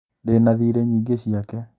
Ndĩna thiri nyingĩ ciake